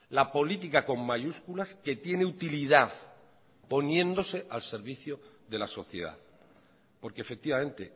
la política con mayúsculas que tiene utilidad poniéndose al servicio de la sociedad porque efectivamente